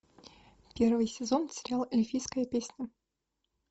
первый сезон сериал эльфийская песня